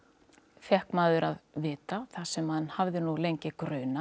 fékk maður að vita það sem mann hafði nú lengi grunað